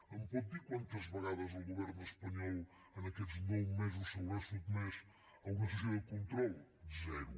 em pot dir quantes vegades el govern espanyol en aquests nou mesos s’haurà sotmès a una sessió de control zero